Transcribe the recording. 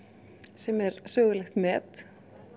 sem er sögulegt met